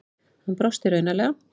Hann brosti raunalega.